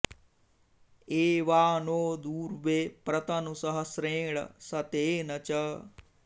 ए॒वा नो॑ दूर्वे॒ प्र त॑नु स॒हस्रे॑ण श॒तेन॑ च